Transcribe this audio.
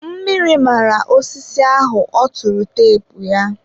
mmiri mara osisi ahụ ọ tụrụ teepu.